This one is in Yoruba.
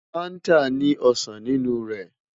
Fanta ni osan ninu rẹ